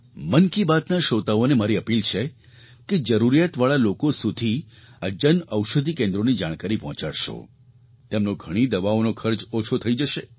મન કી બાતના શ્રોતાઓને મારી અપીલ છે કે જરૂરિયાતવાળા લોકો સુધી આ જન ઔષધિ કેન્દ્રોની જાણકારી પહોંચાડશો તેમનો ઘણી દવાઓનો ખર્ચ ઓછો થઈ જશે